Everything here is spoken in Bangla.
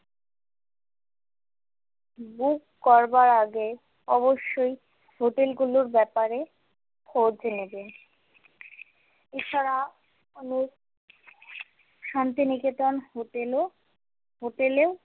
book করবার আগে অবশ্যই hotel গুলোর ব্যাপারে খোঁজ নেবেন এছাড়া অনেক শান্তিনিকেতন hotel ও hotel এও।